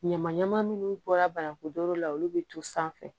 Ɲama ɲama minnu bɔra banaku la olu bɛ to sanfɛ